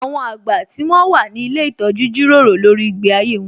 Àwọn àgbà tí wón wà ní ilé ìtọ́jú jíròrò lórí ìgbé ayé wón